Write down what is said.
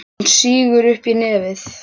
Hún sýgur upp í nefið.